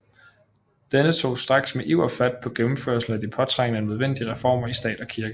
Denne tog straks med iver fat på gennemførelsen af de påtrængende nødvendige reformer i stat og kirke